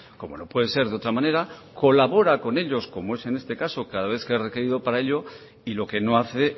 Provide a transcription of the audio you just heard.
como no puede ser de otra manera colabora con ellos como es en este caso cada vez que es requerido para ello y lo que no hace